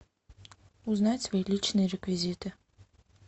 узнать свои личные реквизиты